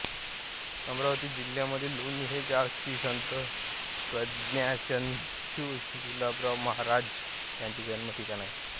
अमरावती जिल्ह्यातील लोणी हे गाव श्री संत प्रज्ञाचक्षू गुलाबराव महाराज यांचे जन्म ठिकाण आहे